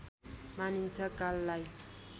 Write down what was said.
मानिन्छ काललाई